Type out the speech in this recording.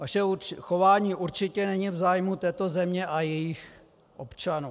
Vaše chování určitě není v zájmu této země a jejích občanů.